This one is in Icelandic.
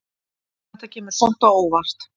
Þetta kemur samt á óvart.